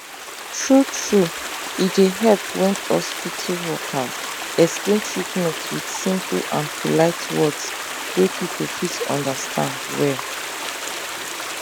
true true e dey help when hospital workers explain treatment with simple and polite words wey people fit understand well